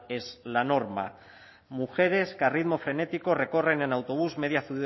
es la norma mujeres que a ritmo frenético recorren en autobús